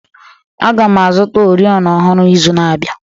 Aga m azụta oriọna ọhụrụ n'izu na-abịa